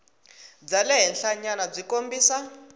bya le henhlanyana byi kombisa